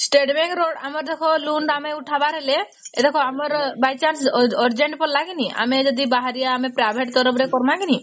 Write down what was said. state bank ର ଆମର ଜେଖା loan ଉଠାଵର ହେଲେ ଏରେଖା ଆମର by chance urgent ପଡିଲା କି ନି ଆମେ ଯଦି ବାହାରିବା ଆମେ private ଥି କାରବକି କି ନାଇଁ ?